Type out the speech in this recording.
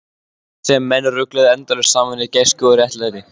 Sem menn rugluðu endalaust saman við gæsku og réttlæti.